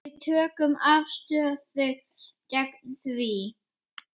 Við tökum afstöðu gegn því.